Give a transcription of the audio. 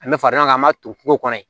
An bɛ fara ɲɔgɔn kan an b'a to kungo kɔnɔ